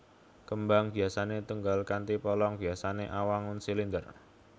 Kembang biasané tunggal kanthi polong biasané awangun silinder